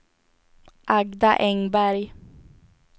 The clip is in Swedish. Agda Engberg